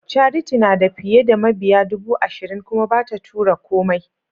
Charity nada fiye da mabiya dubu ashirin kuma bata tura komai.